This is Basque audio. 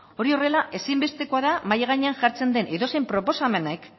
hori horrela ezinbestekoa da mahai gainean jartzen den edozein proposamenek